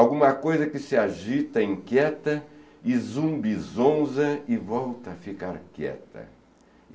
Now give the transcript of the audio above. Alguma coisa que se agita, inquieta e zumbi zonza e volta a ficar quieta.